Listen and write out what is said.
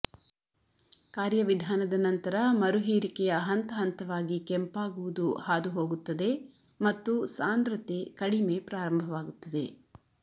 ಕಾರ್ಯವಿಧಾನದ ನಂತರ ಮರುಹೀರಿಕೆಯ ಹಂತ ಹಂತವಾಗಿ ಕೆಂಪಾಗುವುದು ಹಾದುಹೋಗುತ್ತದೆ ಮತ್ತು ಸಾಂದ್ರತೆ ಕಡಿಮೆ ಪ್ರಾರಂಭವಾಗುತ್ತದೆ